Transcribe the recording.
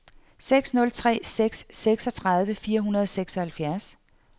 seks nul tre seks seksogtredive fire hundrede og seksoghalvfjerds